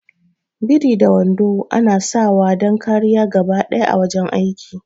Biri da wando ana sawa dan kariya gabaɗaya a wajan aiki